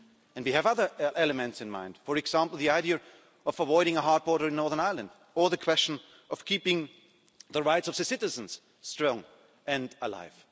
And we have other elements in mind, for example, the idea of avoiding a hard border in Northern Ireland or the question of keeping the rights of citizens strong and alive.